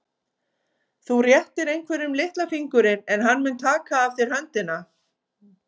Þú réttir einhverjum litla fingurinn en hann mun taka alla höndina.